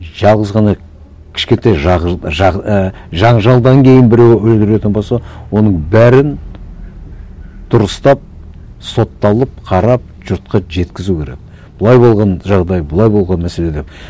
жалғыз ғана кішкентай і жанжалдан кейін біреуін өле беретін болса оның бәрін дұрыстап сотталып қарап жұртқа жеткізу керек былай болған жағдай былай болған мәселе деп